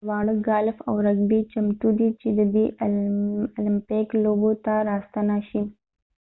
دواړه ګالف او رګبي چمتو دي چې د المپیک لوبو ته راستانه شي